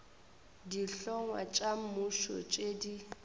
dihlongwa tša mmušo tše di